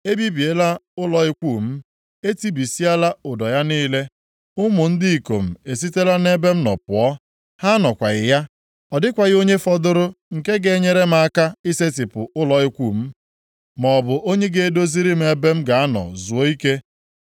Ebibiela ụlọ ikwu m, e tibisiala ụdọ ya niile. Ụmụ m ndị ikom esitela nʼebe m nọ pụọ, ha anọkwaghị ya. Ọ dịkwaghị onye fọdụrụ nke ga-enyere m aka isetipụ ụlọ ikwu m, maọbụ onye ga-edoziri m ebe m ga-anọ zuo ike.